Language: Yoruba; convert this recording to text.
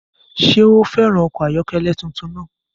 Ṣé ó fẹràn ọkọ̀ ayọ́kẹ́lẹ́ tuntun náà?